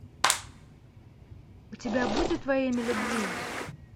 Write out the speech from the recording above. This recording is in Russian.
у тебя будет во имя любви